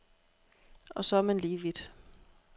Og så er man lige vidt.